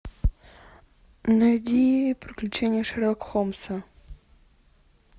найди приключения шерлока холмса